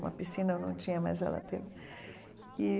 Uma piscina eu não tinha, mas ela teve e.